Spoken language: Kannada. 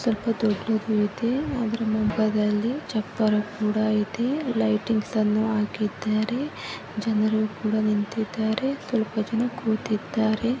ಸ್ವಲ್ಪ ದೊಡ್ಡದಿದೆ ಅದರ ಪಕ್ಕದಲ್ಲಿ ಚಪ್ಪರ ಕೂಡ ಇದೇ ಲೈಟಿಂಗ್ಸ್ ಅನ್ನು ಹಾಕಿದ್ದಾರೆ ಜನರು ಕೂಡ ನಿಂತಿದ್ದಾರೆ ಸ್ವಲ್ಪ ಜನ ಕೂತಿದ್ದಾರೆ